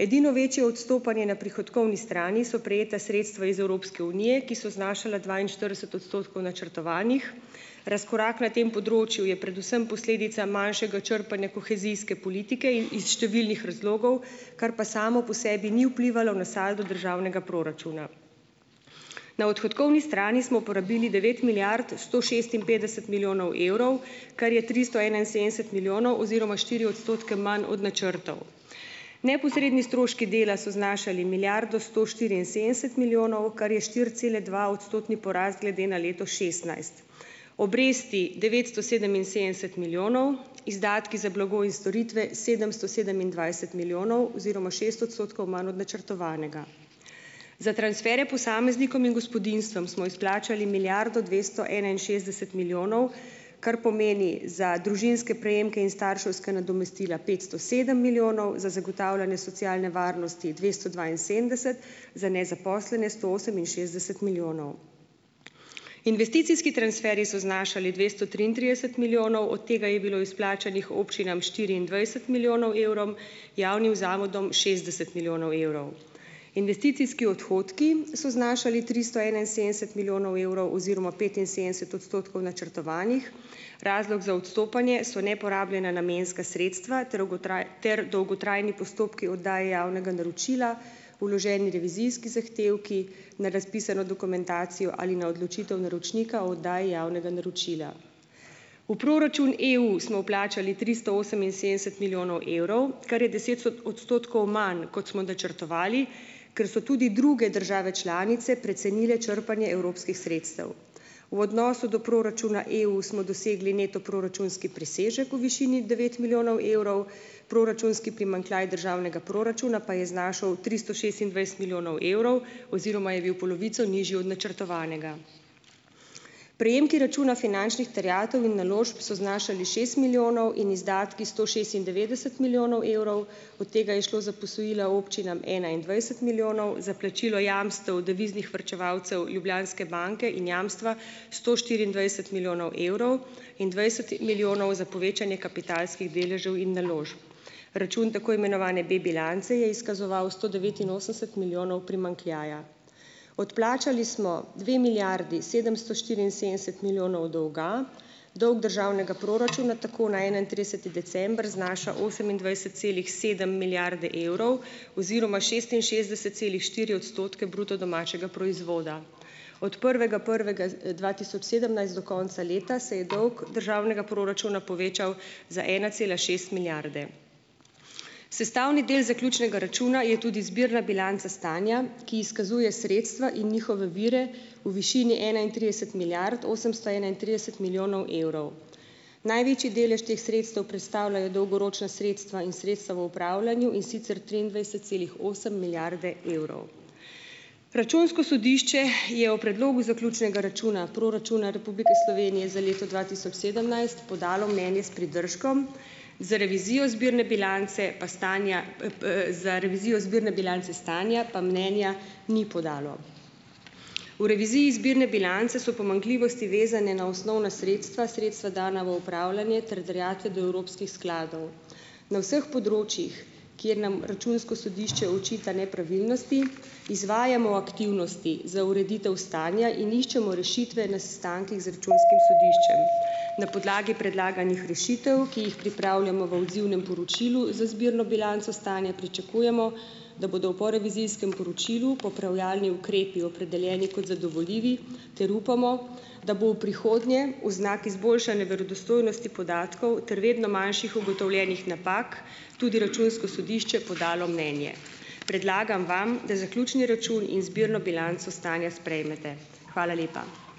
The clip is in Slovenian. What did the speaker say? Edino večje odstopanje na prihodkovni strani so prejeta sredstva iz Evropske unije, ki so znašala dvainštirideset odstotkov načrtovanih. Razkorak na tem področju je predvsem posledica manjšega črpanja kohezijske politike iz številnih razlogov, kar pa samo po sebi ni vplivalo na saldo državnega proračuna. Na odhodkovni strani smo porabili devet milijard sto šestinpetdeset milijonov evrov, kar je tristo enainsedemdeset milijonov oziroma štiri odstotke manj od načrtov. Neposredni stroški dela so znašali milijardo sto štiriinsedemdeset milijonov, kar je štiriceladvaodstotni porast glede na leto šestnajst. Obresti devetsto sedeminsedemdeset milijonov, izdatki za blago in storitve sedemsto sedemindvajset milijonov oziroma šest odstotkov manj od načrtovanega. Za transferje posameznikom in gospodinjstvom smo izplačali milijardo dvesto enainšestdeset milijonov, kar pomeni za družinske prejemke in starševska nadomestila petsto sedem milijonov, za zagotavljanje socialne varnosti dvesto dvainsedemdeset, za nezaposlene sto oseminšestdeset milijonov. Investicijski transferji so znašali dvesto triintrideset milijonov, od tega je bilo izplačanih občinam štiriindvajset milijonov evrov, javnim zavodom šestdeset milijonov evrov. Investicijski odhodki so znašali tristo enainsedemdeset milijonov evrov oziroma petinsedemdeset odstotkov načrtovanih, razlog za odstopanje so neporabljena namenska sredstva ter ter dolgotrajni postopki oddaje javnega naročila, vloženi revizijski zahtevki na razpisano dokumentacijo ali na odločitev naročnika o oddaji javnega naročila. V proračun EU smo vplačali tristo oseminsedemdeset milijonov evrov, kar je deset odstotkov manj, kot smo načrtovali, ker so tudi druge države članice precenile črpanje evropskih sredstev. V odnosu do proračuna EU smo dosegli neto proračunski presežek v višini devet milijonov evrov, proračunski primanjkljaj državnega proračuna pa je znašal tristo šestindvajset milijonov evrov oziroma je bil polovico nižji od načrtovanega. Prejemki računa finančnih terjatev in naložb so znašali šest milijonov in izdatki sto šestindevetdeset milijonov evrov, od tega je šlo za posojila občinam enaindvajset milijonov za plačilo jamstev deviznih varčevalcev Ljubljanske banke in jamstva sto štiriindvajset milijonov evrov in dvajset milijonov za povečanje kapitalskih deležev in naložb. Račun tako imenovane B-bilance je izkazoval sto devetinosemdeset milijonov primanjkljaja. Odplačali smo dve milijardi sedemsto štiriinsedemdeset milijonov dolga, dolg državnega proračuna tako na enaintrideseti december znaša osemindvajset celih sedem milijarde evrov oziroma šestinšestdeset celih štiri odstotke bruto domačega proizvoda. Od prvega prvega, dva tisoč sedemnajst do konca leta se je dolg državnega proračuna povečal za ena cela šest milijarde. Sestavni del zaključnega računa je tudi zbirna bilanca stanja, ki izkazuje sredstva in njihove vire v višini enaintrideset milijard osemsto enaintrideset milijonov evrov. Največji delež teh sredstev predstavljajo dolgoročna sredstva in sredstva v upravljanju, in sicer triindvajset celih osem milijarde evrov. Računsko sodišče je o Predlogu zaključnega računa proračuna Republike Slovenije za leto dva tisoč sedemnajst podalo mnenje s pridržkom, za revizijo zbirne bilance pa stanja pa za revizijo zbirne bilance stanja pa mnenja ni podalo. V reviziji zbirne bilance so pomanjkljivosti, vezane na osnovna sredstva, sredstva, dana v upravljanje, ter terjatve do evropskih skladov. Na vseh področjih, kjer nam Računsko sodišče očita nepravilnosti, izvajamo aktivnosti za ureditev stanja in iščemo rešitve na sestankih z računskim sodiščem. Na podlagi predlaganih rešitev, ki jih pripravljamo v odzivnem poročilu, za zbirno bilanco stanja pričakujemo, da bodo v porevizijskem poročilu popravljalni ukrepi opredeljeni kot zadovoljivi ter upamo, da bo v prihodnje v znak izboljšanja verodostojnosti podatkov ter vedno manjših ugotovljenih napak tudi računsko sodišče podalo mnenje. Predlagam vam, da zaključni račun in zbirno bilanco stanja sprejmete. Hvala lepa.